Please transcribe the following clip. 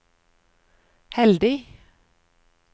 heldig